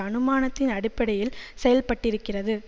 அனுமானத்தின் அடிப்படையில் செயல்பட்டிருக்கிறது